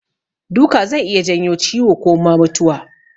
Duka zai iya janyo ciwo ko ma mutuwa.